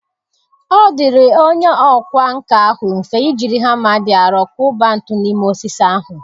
Ọ dịrị onye ọkwá nkà ahụ mfe i jiri hama dị arọ kụba ntu n’ime osisi ahụ.